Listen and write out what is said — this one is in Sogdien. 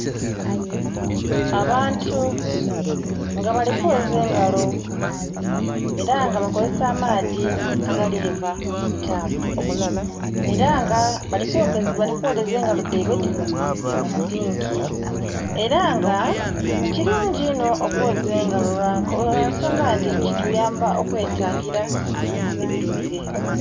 Abantu nga bali kwoza engalo era nga bakozesa amaadhi agaliva mutapu era nga balikwoleza engalo dheibwe dhinho musinki era nga kirungi inho okwoza engalo lwansonga inti kituyamba okwetangira ebilwaire.